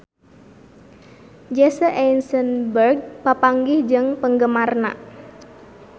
Jesse Eisenberg papanggih jeung penggemarna